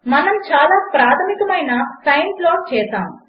మనము చాలా ప్రాధమికమైన సైన్ ప్లాట్ చేసాము